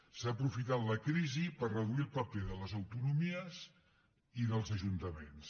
s’ha aprofitat la crisi per reduir el paper de les autonomies i dels ajuntaments